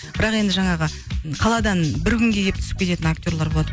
бірақ енді жаңағы қаладан бір күнге келіп түсіп кететін актерлар болады